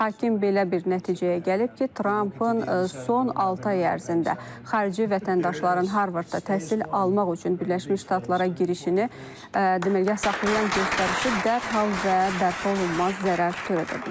Hakim belə bir nəticəyə gəlib ki, Trampın son altı ay ərzində xarici vətəndaşların Harvardda təhsil almaq üçün Birləşmiş Ştatlara girişini deməli yasaqlayan göstərişi dərhal və bərpa olunmaz zərər törədə bilər.